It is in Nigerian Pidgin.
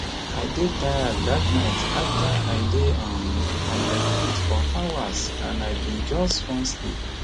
i dey tired dat night afta i dey um on my feet for hours and i bin just want sleep